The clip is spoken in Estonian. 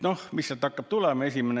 Noh, mis sealt hakkab tulema?